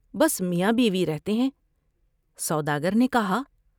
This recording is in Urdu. بس میاں بیوی رہتے ہیں ۔سوداگر نے کہا ۔